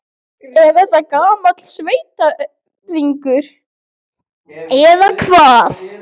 Er þetta gamall sveitarígur, eða hvað?